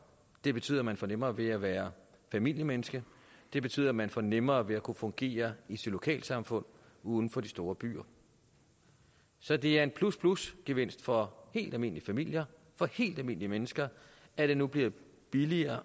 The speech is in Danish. det betyder at man får nemmere ved at være familiemenneske det betyder at man får nemmere ved at kunne fungere i sit lokalsamfund uden for de store byer så det er en plus plus gevinst for helt almindelige familier for helt almindelige mennesker at det nu bliver billigere